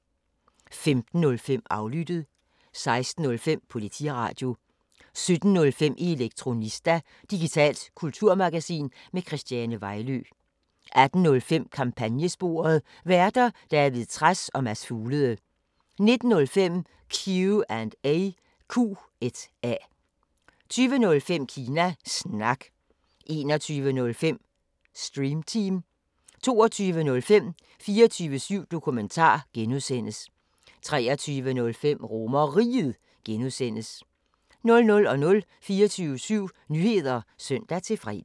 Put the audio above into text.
15:05: Aflyttet 16:05: Politiradio 17:05: Elektronista – digitalt kulturmagasin med Christiane Vejlø 18:05: Kampagnesporet: Værter: David Trads og Mads Fuglede 19:05: Q&A 20:05: Kina Snak 21:05: Stream Team 22:05: 24syv Dokumentar (G) 23:05: RomerRiget (G) 00:00: 24syv Nyheder (søn-fre)